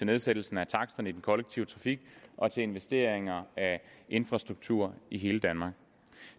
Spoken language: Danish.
nedsættelse af taksterne i den kollektive trafik og til investeringer i infrastruktur i hele danmark